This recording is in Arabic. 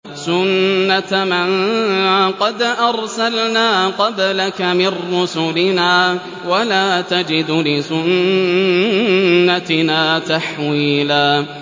سُنَّةَ مَن قَدْ أَرْسَلْنَا قَبْلَكَ مِن رُّسُلِنَا ۖ وَلَا تَجِدُ لِسُنَّتِنَا تَحْوِيلًا